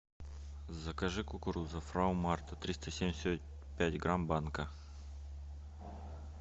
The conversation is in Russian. закажи кукуруза фрау марта триста семьдесят пять грамм банка